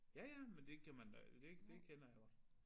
Ja ja men det kan man da det det kender jeg godt